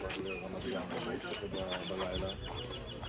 Qalxırdı yenə, dedi ki, mənim adımdan elədir.